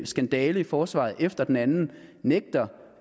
skandale i forsvaret efter den anden nægter